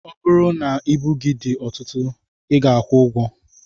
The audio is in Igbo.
Ọ bụrụ na ibu gị dị ọtụtụ I ga-akwụ ụgwọ.